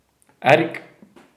Erik.